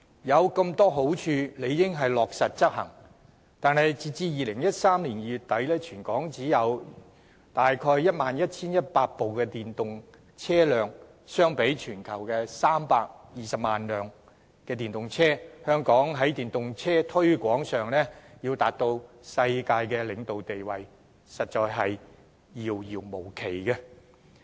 有如此多好處，理應落實執行，但截至2018年2月底，全港只有約 11,100 部電動車輛，相比全球320萬輛電動車，香港要在電動車推廣上達到世界領導地位，實在是遙遙無期。